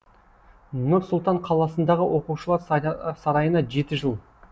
нұр сұлтан қаласындағы оқушылар сарайына жеті жыл